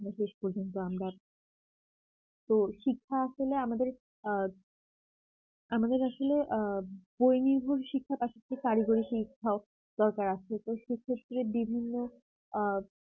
শেষ পর্যন্ত আমরা তো শিক্ষা আসলে আমাদের আ আমাদের আসলে আ বই নির্ভর শিক্ষা আসার থেকে কারিগরি শিক্ষা দরকার আছে তো সে ক্ষেত্রে বিভিন্ন আ